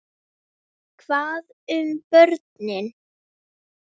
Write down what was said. Hvað um börnin?